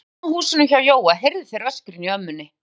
Þegar þeir komu að húsinu hjá Jóa heyrðu þeir öskrin í ömmunni.